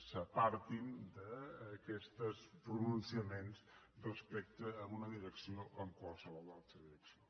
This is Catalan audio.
s’apartin d’aquests pronunciaments respecte a una direcció o en qualsevol altra direcció